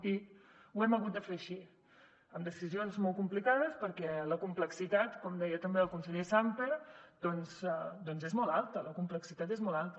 i ho hem hagut de fer així amb decisions molt complica des perquè la complexitat com deia també el conseller sàmper doncs és molt alta la complexitat és molt alta